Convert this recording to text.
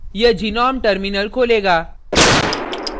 यह gnome terminal खोलेगा